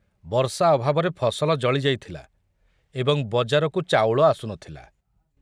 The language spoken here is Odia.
ବର୍ଷା ଅଭାବରେ ଫସଲ ଜଳି ଯାଇଥିଲା ଏବଂ ବଜାରକୁ ଚାଉଳ ଆସୁ ନଥିଲା।